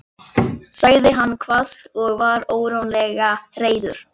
sagði hann hvasst og var ógurlega reiður.